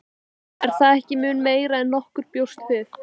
Björn: Er það ekki mun meira en nokkur bjóst við?